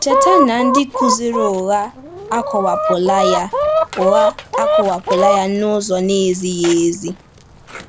Cheta na ndị kụziri ụgha akọwapụla ya ụgha akọwapụla ya n’ụzọ na-ezighi ezi.